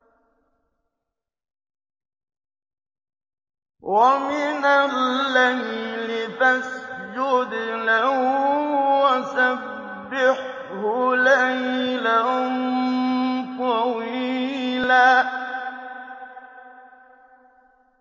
وَمِنَ اللَّيْلِ فَاسْجُدْ لَهُ وَسَبِّحْهُ لَيْلًا طَوِيلًا